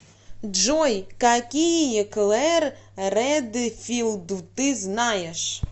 джой какие клэр редфилд ты знаешь